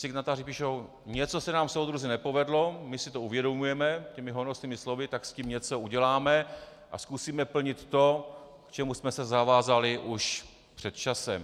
Signatáři píšou: něco se nám, soudruzi, nepovedlo, my si to uvědomujeme, těmi honosnými slovy, tak s tím něco uděláme a zkusíme plnit to, k čemu jsme se zavázali už před časem.